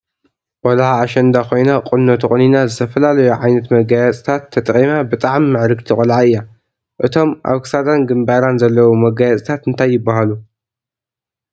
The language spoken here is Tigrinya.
ቆልዓ ኣሸንዳ ኮይና ቁኖ ተቆኒና ዝተፈላለዮ ዓይነት መጋየፅታት ተጠቂማ ብጣዕሚ ምዕርግቲ ቆልዓ እያ። እቶም ኣብ ክሳዳን ግንባራን ዘለዉ መጋየፅታት እንታይ ይባሃሉ?